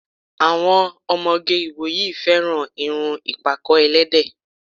Àwọn ọmọge ìwòyí fẹràn irun ìpàkọ́-ẹlẹ́dẹ̀